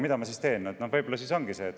Mida ma siis teeks?